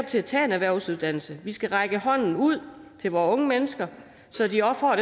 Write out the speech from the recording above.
til at tage en erhvervsuddannelse vi skal række hånden ud til vore unge mennesker så de også får